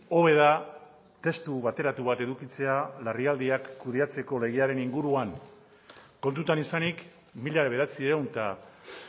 hobe da testu bateratu bat edukitzea larrialdiak kudeatzeko legearen inguruan kontutan izanik mila bederatziehun eta